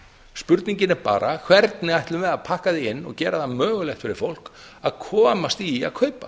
spurningin er bara hvernig ætlum við að pakka því inn og gera það mögulegt fyrir fólk að komast í að kaupa